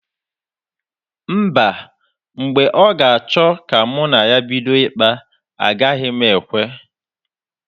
Mba, mgbe ọ ga-achọ ka mụ na ya bido ịkpa, agaghị m ekwe.